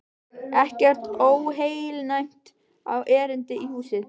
Ekkert óheilnæmt á erindi í húsið.